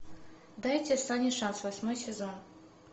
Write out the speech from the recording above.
дайте сане шанс восьмой сезон